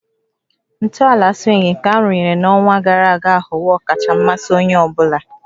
Ntọala swing nke arụnyere n'ọnwa gara aga aghọwo ọkacha mmasị onye ọ bụla